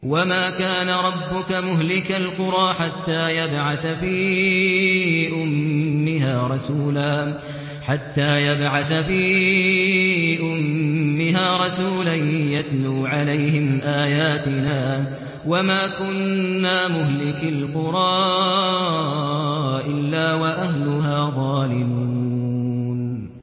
وَمَا كَانَ رَبُّكَ مُهْلِكَ الْقُرَىٰ حَتَّىٰ يَبْعَثَ فِي أُمِّهَا رَسُولًا يَتْلُو عَلَيْهِمْ آيَاتِنَا ۚ وَمَا كُنَّا مُهْلِكِي الْقُرَىٰ إِلَّا وَأَهْلُهَا ظَالِمُونَ